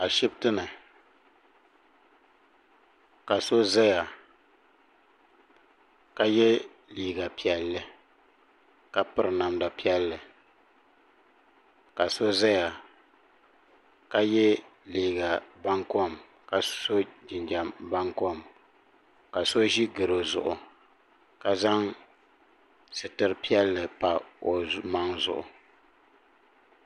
Ashiptini ka so zaya ka ye liiga piɛlli ka piri namda piɛlli ka so zaya ka ye liiga bankom ka so jinjiɛm bankom ka so ʒi goro zuɣu ka zaŋ sitiri piɛlli pa o maŋ zuɣu.